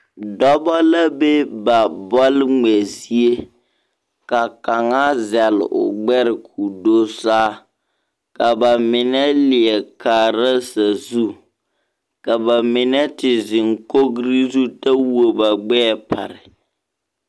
Dͻbͻ la be ba bͻl ŋmԑ zie, ka kaŋa zԑle o gbԑre ka o do saa. Ka ba mine leԑ kaara sazu. Ka ba mine te zeŋ kogiri zu kyԑ wuo ba gbԑԑ pare.